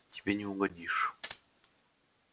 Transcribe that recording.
тебе не угодишь